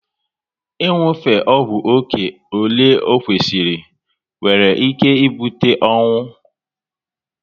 Ị nwufe ọgwụ oké ọle o kwesịrị nwere ike ibute ọnwụ